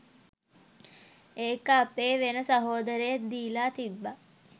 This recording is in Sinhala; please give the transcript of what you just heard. ඒක අපේ වෙන සහෝදරයෙක් දීලා තිබ්බා